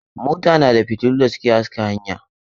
Mota na da fiotillu da suke haska hanya.